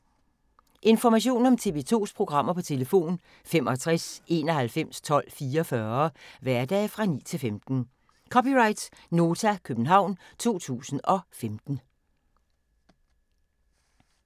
Information om TV 2's programmer: 65 91 12 44, hverdage 9-15.